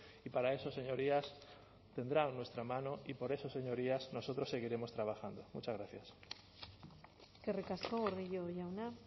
y para eso señorías tendrán nuestra mano y por eso señorías nosotros seguiremos trabajando muchas gracias eskerrik asko gordillo jauna